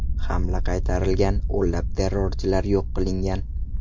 Hamla qaytarilgan, o‘nlab terrorchilar yo‘q qilingan.